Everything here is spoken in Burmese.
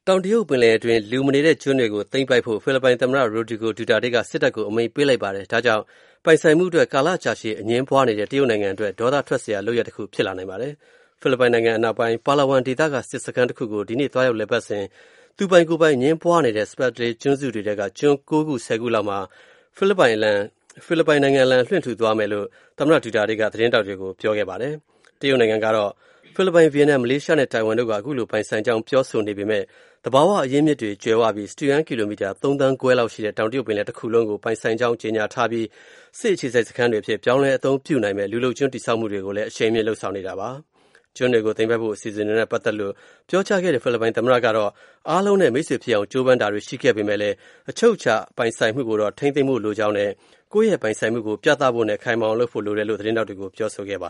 ောင်တရုတ် ပင်လယ်တွင်းက လူမနေတဲ့ ကျွန်းတွေကို သိမ်းပိုက်ဖို့ ဖိလစ်ပိုင်သမ္မတ Rodrigo Duterte က စစ်တပ်ကို အမိန့်ပေးလိုက်တဲ့ အတွက် ပိုင်ဆိုင်မှုအတွက် ကာလကြာရှည် အငြင်းပွားနေတဲ့ တရုတ်နိုင်ငံအတွက် ဒေါသထွက်စရာ လုပ်ရပ်တခု ဖြစ်လာနိုင်ပါတယ်။ ဖိလစ်ပိုင်နိုင်ငံ အနောက်ပိုင်း Palawan ဒေသက စစ်စခန်းတခုကို ဒီကနေ့ သွားရောက် လည်ပတ်စဉ်မှာ သူပိုင်ကိုယ်ပိုင် အငြင်းပွားနေတဲ့ Spratly ကျွန်းစုတွေထဲက ကျွန်း ၉ ခု ၁၀ ခု လောက်မှာ ဖိလစ်ပိုင်အလံ လွှင့်ထူသွားမယ့် အစီအစဉ်နဲ့ ပတ်သက်လို့ သမ္မတ Duterte က သတင်းထောက်တွေကို ပြောဆိုခဲ့တာပါ။ တရုတ်နိုင်ငံကတော့ ဖိလစ်ပိုင်၊ ဗီယက်နမ်၊ မလေးရှားနဲ့ ထိုင်ဝမ် တို့က ပိုင်ဆိုင်ကြောင်း ပြောဆိုနေပေမဲ့ သဘာဝအရင်းအမြစ်တွေ ကြွယ်ဝပြီး၊ စတုရန်းကီလိုမီတာ ၃ သန်းခွဲလောက်ရှိတဲ့ တောင်တရုတ်ပင်လယ် တခုလုံးကို ပိုင်ဆိုင်ကြောင်း ကြေညာထားပြီး၊ စစ်အခြေစိုက် စခန်းတွေအဖြစ် ပြောင်းလဲအသုံးပြုနိုင်မယ့် လူလုပ်ကျွန်း တည်ဆောက်မှုတွေကိုလည်း အရှိန်မြှင့် လုပ်ဆောင်နေတာ ဖြစ်ပါတယ်။ ကျွန်းတွေကို သိမ်းပိုက်ဖို့ အစီအစဉ်တွေနဲ့ ပတ်သက်လို့ ပြောကြားခဲ့တဲ့ ဖိလစ်ပိုင် သမ္မတကတော့ အားလုံးနဲ့ မိတ်ဆွေဖြစ်အောင် ကြိုးပမ်းခဲ့တာတွေ ရှိပေမဲ့လည်း၊ အချုပ်အခြာပိုင်မှုကိုတော့ ထိန်းသိမ်းဖို့ လိုအပ်ကြောင်းနဲ့ ကိုယ့်ရဲ့ပိုင်ဆိုင်မှုကို ပြသဖို့နဲ့ ခိုင်မာအောင်လုပ်ဖို့ လိုတယ်လို့လည်း သတင်းထောက်တွေကို ပြောဆိုခဲ့တာပါ